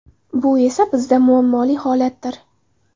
Bu esa bizda muammoli holatdir.